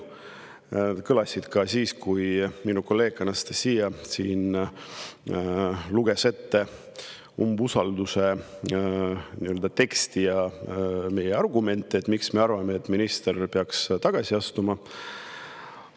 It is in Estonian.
Need kõlasid ka siis, kui minu kolleeg Anastassia luges ette umbusaldus teksti ja meie argumente, miks me arvame, et minister peaks tagasi astuma.